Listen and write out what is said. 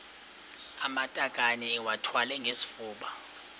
amatakane iwathwale ngesifuba